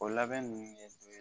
O labɛn ninnu ɲɛf'i ye